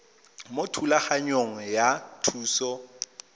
mo thulaganyong ya thuso y